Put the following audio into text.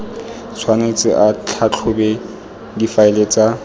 tshwanetse a tlhatlhobe difaele tsa